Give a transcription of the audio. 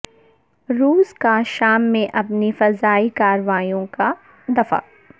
روس کا شام میں اپنی فضائی کارروائیوں کا دفاع